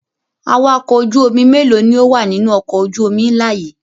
Awakọ̀ ojú-omi mélòó ni ó wà nínú ọkọ̀ ojú-omi ńlá yìí?